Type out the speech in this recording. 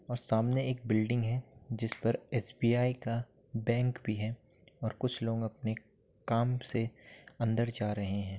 और सामने एक बिल्डिंग है जिस पर एसबीआई का बैंक भी है और कुछ लोग अपने काम से अंदर जा रहे हैं ।